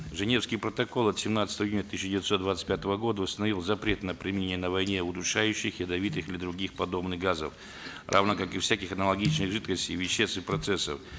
женевский протокол от семнадцатого июня тысяча девятьсот двадцать пятого года установил запрет на применение на войне удушающих ядовитых или других подобных газов равно как и всяких аналогичных жидкостей и веществ и процессов